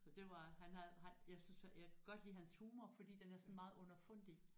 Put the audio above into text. Så det var han havde han jeg synes jeg kan godt lide hans humor fordi den er meget sådan underfundig